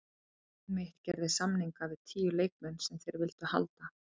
Liðið mitt gerði samninga við tíu leikmenn sem þeir vildu halda.